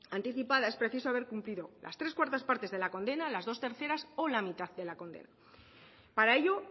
anticipada es preciso haber cumplido las tres cuartas partes de la condena las dos terceras o la mitad de la condena para ello